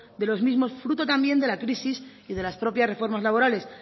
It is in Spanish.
de los mismos fruto también de la crisis y de las propias reformas laborales